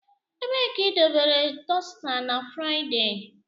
Ebee ka idobere dosita na Fraịde?